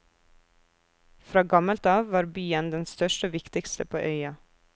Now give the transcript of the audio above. Fra gammelt av var byen den største og viktigste på øya.